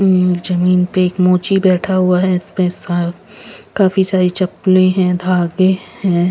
हम्म जमीन पर एक मोची बैठा हुआ है इसपे काफी सारी चप्पले हैं धागे हैं.